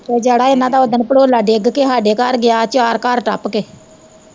ਜਿਹੜਾ ਇੰਨਾਂ ਦਾ ਓਹ ਦਿਨ ਭੜੋਲਾ ਡਿੱਗ ਕੇ ਹਾਡੇ ਘਰ ਗਿਆ, ਚਾਰ ਘਰ ਟੱਪ ਕੇ।